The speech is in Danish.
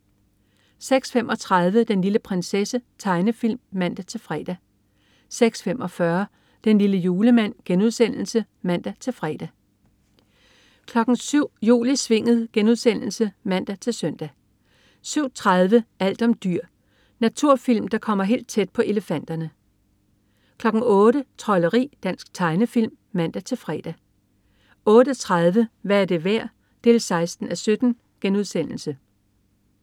06.35 Den lille prinsesse. Tegnefilm (man-fre) 06.45 Den lille julemand* (man-fre) 07.00 Jul i Svinget* (man-søn) 07.30 Alt om dyr. Naturfilm, der kommer helt tæt på elefanterne 08.00 Trolderi. Dansk tegnefilm (man-fre) 08.30 Hvad er det værd? 16:17*